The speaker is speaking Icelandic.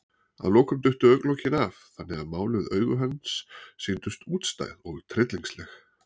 Að lokum duttu augnalokin af, þannig að máluð augu hans sýndust útstæð og tryllingsleg.